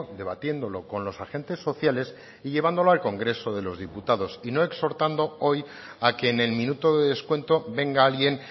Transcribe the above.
debatiéndolo con los agentes sociales y llevándolo al congreso de los diputados y no exhortando hoy a que en el minuto de descuento venga alguien